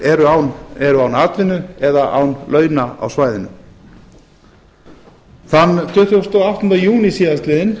eru án atvinnu eða án launa á svæðinu þann tuttugasta og áttunda júní síðastliðinn